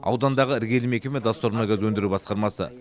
аудандағы іргелі мекеме доссор мұнай газ өндіру басқармасы